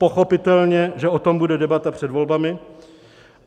Pochopitelně, že o tom bude debata před volbami.